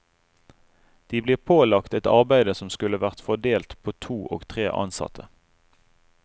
De blir pålagt et arbeide som skulle vært fordelt på to og tre ansatte.